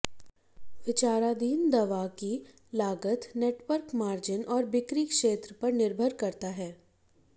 विचाराधीन दवा की लागत नेटवर्क मार्जिन और बिक्री क्षेत्र पर निर्भर करता है